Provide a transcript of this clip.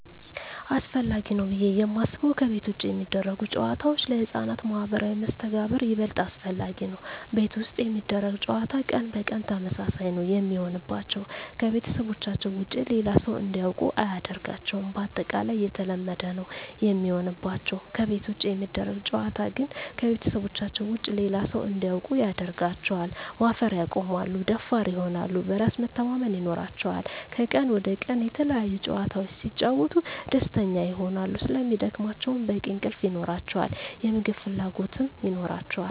አሰፈላጊ ነው ብዬ የማስበው ከቤት ውጭ የሚደረጉ ጨዋታዎች ለህፃናት ማህበራዊ መስተጋብር ይበልጥ አስፈላጊ ነው። ቤት ውስጥ የሚደረግ ጨዋታ ቀን በቀን ተመሳሳይ ነው የሚሆንባቸው , ከቤተሰባቸው ውጭ ሌላ ሰው እንዲያውቁ አያደርጋቸውም ባጠቃላይ የተለመደ ነው የሚሆንባቸው። ከቤት ውጭ የሚደረግ ጨዋታ ግን ከቤተሰባቸው ውጭ ሌላ ሰው እንዲያውቁ ያደርጋቸዋል, ማፈር ያቆማሉ, ደፋር ይሆናሉ, በራስ መተማመን ይኖራቸዋል," ከቀን ወደ ቀን የተለያዪ ጨዋታዎች ሲጫወቱ ደስተኛ ይሆናሉ ስለሚደክማቸው በቂ እንቅልፍ ይኖራቸዋል, የምግብ ፍላጎት ይኖራቸዋል።